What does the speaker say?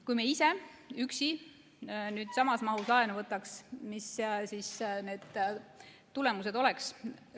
Kui me ise üksi samas mahus laenu võtaks, siis mis need tulemused oleks?